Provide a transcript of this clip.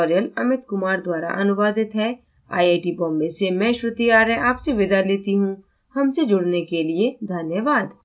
यह ट्यूटोरियल अमित कुमार द्वारा अनुवादित है आईआईटी बॉम्बे से मैं श्रुति आर्य आपसे विदा लेती हूँ हमसे जुड़ने के लिए धन्यवाद